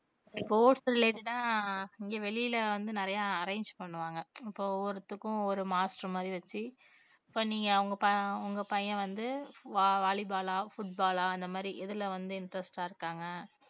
sports related ஆ இங்க வெளியில வந்து நிறைய arrange பண்ணுவாங்க. இப்ப ஒவ்வொருத்துக்கும் ஒரு master மாதிரி வெச்சு இப்ப நீங்க அவங்க ப~ உங்க பையன் வந்து வ~ volley ball ஆ foot ball ஆ அந்த மாதிரி எதுல வந்து interest ஆ இருக்காங்க